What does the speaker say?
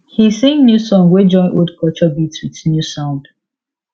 he sing new song wey join old culture beat with new sound